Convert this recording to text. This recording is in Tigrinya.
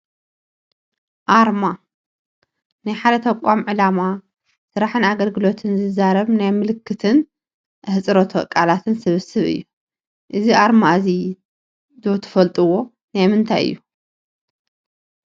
ኣርማ፡- ናይ ሓደ ተቋም ዕላማ፣ ስራሕን ኣገልግሎትን ዝዛረብ ናይ ምልክትን ኣህፅሮተ ቃላት ስብስብ እዩ፡፡ እዚ ኣርማ እዚ ዶ ትፈልጥዋ ናይ ምንታይ እዩ?